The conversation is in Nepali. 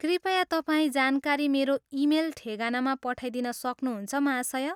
कृपया तपाईँ जानकारी मेरो इमेल ठेगानामा पठाइदिन सक्नुहुन्छ, महाशय?